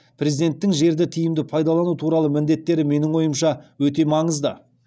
президенттің жерді тиімді пайдалану туралы міндеттері менің ойымша өте маңызды